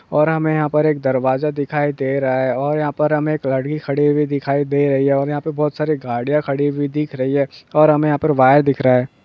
और हमें यह पर एक दरवाजा दिखाई दे रहा है। और यहा पर हमें एक गाड़ी खरी हुई दिखाई दे रही है। और यहा पे बोहोत सारि गरिए खरी हुई दिख रही है। और हमें वायर दिख रहा हे।